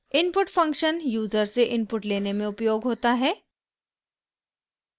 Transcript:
input function user से input लेने में उपयोग होता है